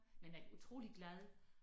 Men er utrolig glad